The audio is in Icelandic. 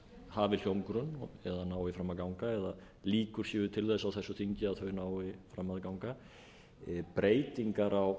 hafi hljómgrunn eða nái fram að ganga eða líkur séu til þess á þessu þingi að þau nái fram að ganga breytingar á